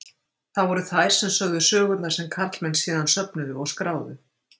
Það voru þær sem sögðu sögurnar sem karlmenn síðan söfnuðu og skráðu.